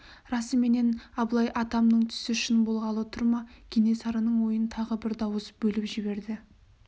расыменен абылай атамның түсі шын болғалы тұр ма кенесарының ойын тағы бір дауыс бөліп жіберді